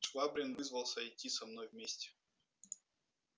швабрин вызвался идти со мной вместе